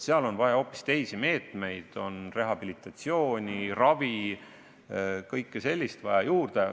On vaja hoopis teisi meetmeid, juurde on vaja rehabilitatsiooni, ravi – kõike sellist.